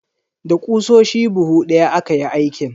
Da ƙusoshi buhu daya aka yi aikin.